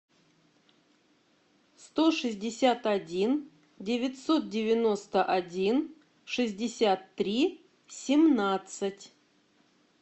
сто шестьдесят один девятьсот девяносто один шестьдесят три семнадцать